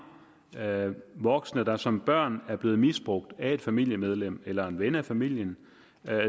voksne der som børn er blevet misbrugt af et familiemedlem eller en ven af familien